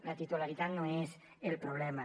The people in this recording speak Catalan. la titularitat no és el problema